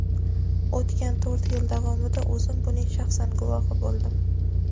O‘tgan to‘rt yil davomida o‘zim buning shaxsan guvohi bo‘ldim.